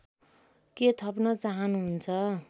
के थप्न चाहनुहुन्छ